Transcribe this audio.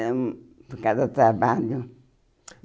Era hum por causa do trabalho.